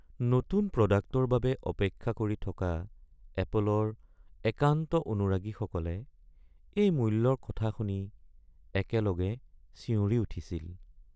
নতুন প্ৰডাক্টৰ বাবে অপেক্ষা কৰি থকা এপলৰ একান্ত অনুৰাগীসকলে এই মূল্যৰ কথা শুনি একেলগে চিঞৰি উঠিছিল।